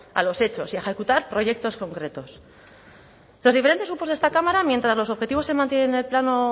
a los hechos y a ejecutar proyectos concretos los diferentes grupos de esta cámara mientras los objetivos se mantienen en el plano